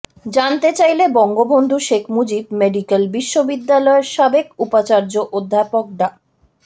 জানতে চাইলে বঙ্গবন্ধু শেখ মুজিব মেডিক্যাল বিশ্ববিদ্যালয়ের সাবেক উপাচার্য অধ্যাপক ডা